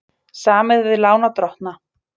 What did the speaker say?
Samið við lánardrottna